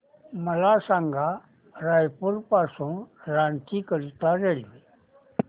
मला सांगा रायपुर पासून रांची करीता रेल्वे